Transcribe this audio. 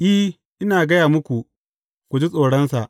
I, ina gaya muku, ku ji tsoronsa.